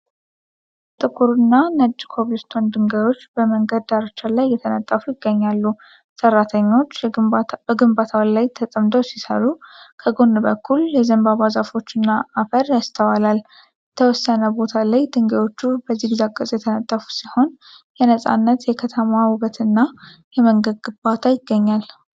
ጥቁርና ነጭ ኮብል ስቶን ድንጋዮች በመንገድ ዳርቻ ላይ እየተነጠፉ ይገኛሉ። ሰራተኞች ግንባታው ላይ ተጠምደው ሲሰሩ፣ ከጎን በኩል የዘንባባ ዛፎችና አፈር ይስተዋላል። የተወሰነ ቦታ ላይ ድንጋዮቹ በዚግዛግ ቅርፅ የተነጠፉ ሲሆን፣ የነፃነት፣ የከተማ ውበትና የመንገድ ግንባታ ይገኛል።